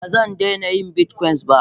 Bazandaina yin bitcoin ba.